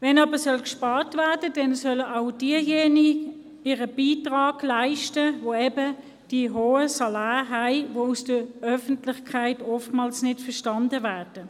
Wenn gespart werden soll, sollen aber auch jene ihren Beitrag leisten, die eben ein hohes Salär haben, was von der Öffentlichkeit oftmals nicht verstanden wird.